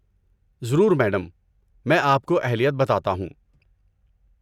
ضرور، میڈم! میں آپ کو اہلیت بتاتا ہوں؟